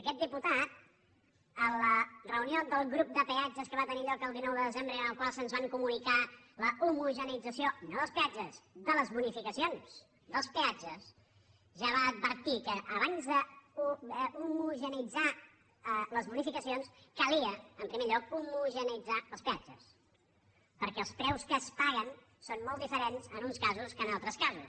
aquest diputat a la reunió del grup de peatges que va tenir lloc el dinou de desembre i en la qual se’ns va comunicar l’homogeneïtzació no dels peatges de les bonificacions dels peatges ja va advertir que abans d’homogeneïtzar les bonificacions calia en primer lloc homogeneïtzar els peatges perquè els preus que es paguen són molt diferents en uns casos que en altres casos